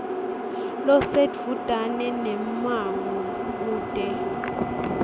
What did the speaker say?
losedvutane nemmango kute